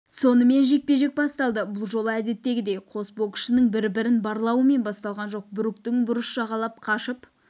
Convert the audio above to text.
сонымен жекпе-жек басталды бұл жолы әдеттегідей қос боксшының бірін-бірі барлауымен басталған жоқ бруктың бұрыш жағалап қашып